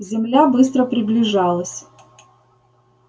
земля быстро приближалась